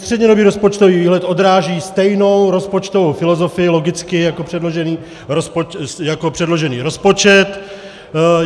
Střednědobý rozpočtový výhled odráží stejnou rozpočtovou filozofii, logicky, jako předložený rozpočet.